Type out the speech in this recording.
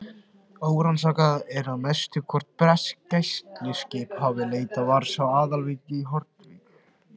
Órannsakað er að mestu, hvort bresk gæsluskip hafi leitað vars á Aðalvík og Hornvík.